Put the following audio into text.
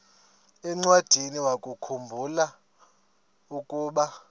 encwadiniwakhu mbula ukuba